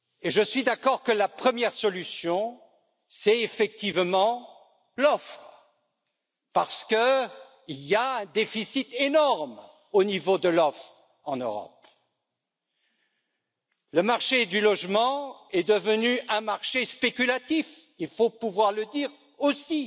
Je suis d'accord que la première solution est effectivement l'offre parce qu'il y a un déficit énorme au niveau de l'offre en Europe. Le marché du logement est devenu un marché spéculatif, il faut pouvoir le dire aussi.